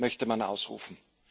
möchte man ausrufen.